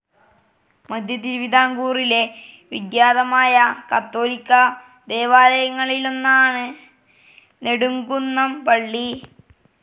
മധ്യതിരുവിതാംകൂറിലെ വിഖ്യാതമായ കാത്തോലിക്‌ ദേവാലയങ്ങളിലൊന്നാണ് നെടുംകുന്നം പള്ളി.